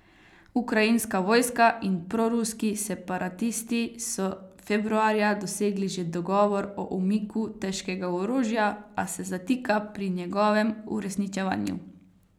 Ukrajinska vojska in proruski separatisti so februarja dosegli že dogovor o umiku težkega orožja, a se zatika pri njegovem uresničevanju.